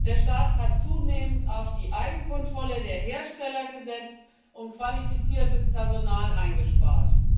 Der Staat hat zunehmend auf die Eigenkontrolle der Hersteller gesetzt und qualifiziertes Personal eingespart.